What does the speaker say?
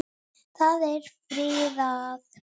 Það er friðað.